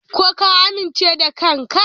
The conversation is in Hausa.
Ko ka amince da kanka?